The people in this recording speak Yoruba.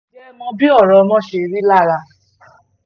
ǹjẹ́ ẹ mọ bí ọ̀rọ̀ ọmọ ṣe rí lára